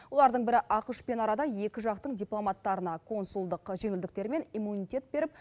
олардың бірі ақш пен арада екі жақтың дипломаттарына консулдық жеңілдіктер мен иммунитет беріп